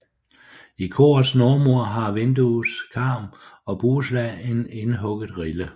I korets nordmur har vinduets karm og bueslag en indhugget rille